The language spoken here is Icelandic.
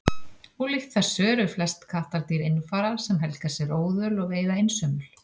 ólíkt þessu eru flest kattardýr einfarar sem helga sér óðöl og veiða einsömul